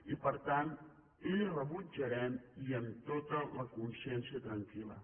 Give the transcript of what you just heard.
i per tant la hi rebutjarem i amb tota la consciència tranquil·la